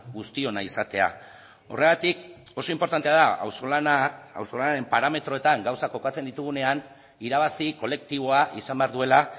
guztiona izatea horregatik oso inportantea da auzolanaren parametroetan gauzak kokatzen ditugunean irabazi kolektiboa izan behar duela